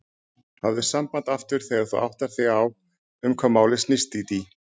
Hafðu samband aftur þegar þú áttar þig á um hvað málið snýst, Dídí.